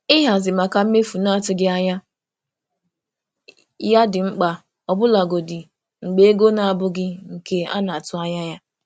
um Ịhazi maka mmefu na-atụghị anya ya dị mkpa ọbụlagodi mgbe ego um na-abụghị nke a na-atụ um anya ya.